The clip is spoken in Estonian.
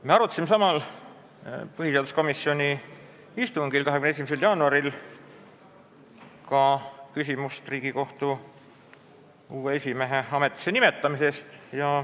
Me arutasime samal põhiseaduskomisjoni istungil 21. jaanuaril ka küsimust Riigikohtu uue esimehe ametisse nimetamisest.